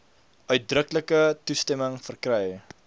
uitdruklike toestemming verkry